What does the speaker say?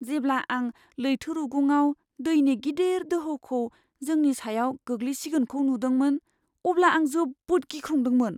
जेब्ला आं लैथो रुगुङाव दैनि गिदिर दोहौखौ जोंनि सायाव गोग्लैसिगोनखौ नुदोंमोन, अब्ला आं जोबोद गिख्रंदोंमोन।